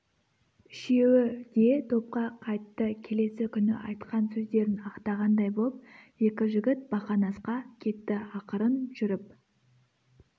үшеуі де топқа қайтты келесі күні айтқан сөздерін ақтағандай боп екі жігіт бақанасқа кетті ақырын жүріп